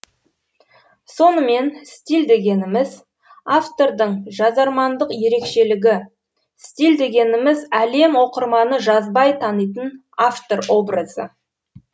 сонымен стиль дегеніміз автордың жазармандық ерекшелігі стиль дегеніміз әлем оқырманы жазбай танитын автор образы